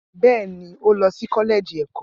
Bẹ́ẹ̀ ni, ó lọ sí kọ́lẹ́ẹ̀jì ẹ̀kọ́.